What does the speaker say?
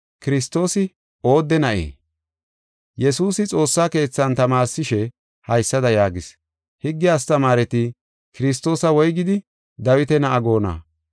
Yesuusi xoossa keethan tamaarsishe, haysada yaagis: “Higge astamaareti Kiristoosa woygidi Dawita na7a goonna?